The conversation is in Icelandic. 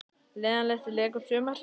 Leiðinlegasti leikur sumarsins?